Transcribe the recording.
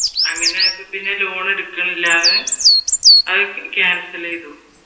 അങ്ങനെ ആയപ്പോ പിന്നെ ലോൺ എടുക്കാനില്ലാതെ അത് ക്യാൻസൽ ചെയ്തു